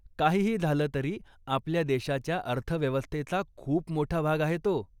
काहीही झालं तरी, आपल्या देशाच्या अर्थव्यवस्थेचा खूप मोठा भाग आहे तो.